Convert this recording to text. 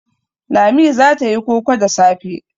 Lami za ta yi koko da safe.